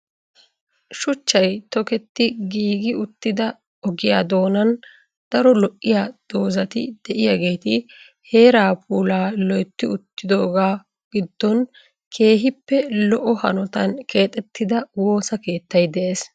Shuchchay tokketti giigi uttida ogiya doonaan daro lo'iya doozati diyageeti heeraa puulaa loytti uttidoogaa giddon keehippe lo'o hanotan keexxettida woossa keettay de'ees.